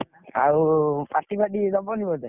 ଆଉ party party ଦବନି ବୋଧେ।